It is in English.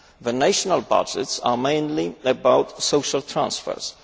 The national budgets are mainly about social transfers